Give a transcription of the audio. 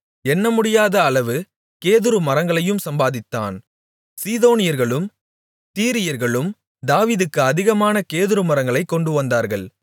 எண்ணமுடியாத அளவு கேதுருமரங்களையும் சம்பாதித்தான் சீதோனியர்களும் தீரியர்களும் தாவீதுக்கு அதிகமான கேதுருமரங்களைக் கொண்டுவந்தார்கள்